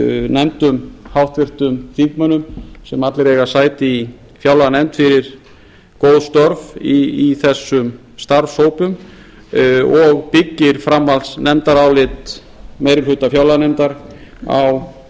nefndum háttvirtum þingmönnum sem allir eiga sæti í fjárlaganefnd fyrir góð störf í þessum starfshópum og byggir framhaldsnefndarálit meiri hluta fjárlaganefndar á